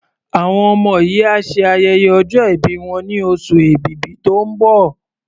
Àwọn ọmọ yìí á ṣe ayẹyẹ ọjọ́ ìbí wọn ní oṣù Èbìbí tó ń bọ̀.